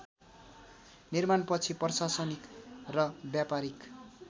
निर्माणपछि प्रशासनिक र ब्यापारीक